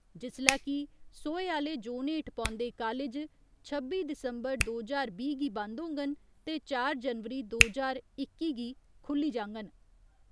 जिस्सलै कि सोहे आह्‌ले जोन हेठ पौन्दे कालेज छब्बी दिसम्बर दो ज्हार बीह् गी बन्द होङन ते चार जनवरी दो ज्हार इक्की गी खुल्ली जाङन।